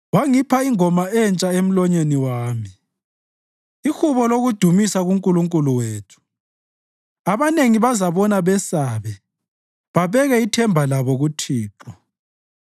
Wangipha ingoma entsha emlonyeni wami, ihubo lokudumisa kuNkulunkulu wethu. Abanengi bazabona besabe babeke ithemba labo kuThixo.